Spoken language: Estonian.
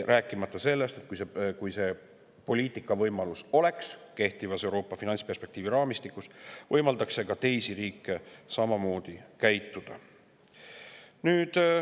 Rääkimata sellest, et kui kehtivas Euroopa finantsperspektiivi raamistikus selline poliitikavõimalus oleks, võimaldaks see teistel riikidel samamoodi käituda.